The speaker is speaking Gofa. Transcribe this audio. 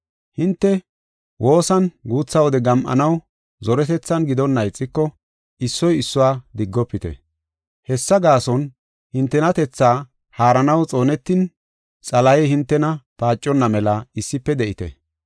Hinte woosan guutha wode gam7anaw zoretethan gidonna ixiko, issoy issuwa diggofite. Hessa gaason hintenatethaa haaranaw xoonetin, Xalahey hintena paaconna mela issife de7ite.